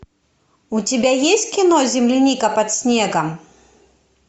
у тебя есть кино земляника под снегом